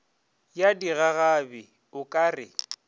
ya digagabi o ka re